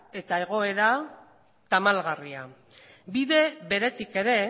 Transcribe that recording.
eta egoera tamalgarria bide beretik ere